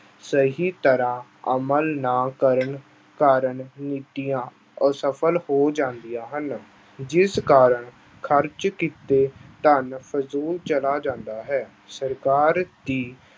ਸਹੀ ਤਰ੍ਹਾਂ ਅਮਲ ਨਾ ਕਰਨ ਕਾਰਨ ਨੀਤੀਆਂ ਅਸਫ਼ਲ ਹੋ ਜਾਂਦੀਆਂ ਹਨ, ਜਿਸ ਕਾਰਨ ਖ਼ਰਚ ਕੀਤੇ ਧਨ ਫਜ਼ੂਲ ਚਲਾ ਜਾਂਦਾ ਹੈ, ਸਰਕਾਰ ਦੀ